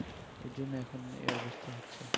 এজন্য এখন এ অবস্থা হচ্ছে